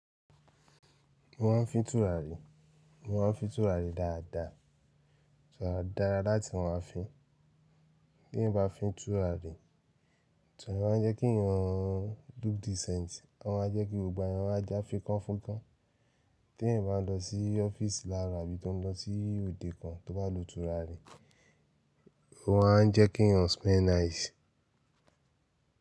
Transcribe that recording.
Mo ma n fi tùràrí, mo ma n fi tùràrí dáadáa. Tùràrí dára láti ma fin. Bí n bá fi tùràrí, turari maa n jẹ́ kí eyàn look decent. Ó ma jẹ́ kí gbogbo ara wá já fíkanfunkán. Tí ẹ̀eyan n bá lọ sí ọ́fíìsì láaro àbí tó n lọ sí òde kan tó bá lo tùràrí, ó ma n jẹ́ kí yàn smell nice.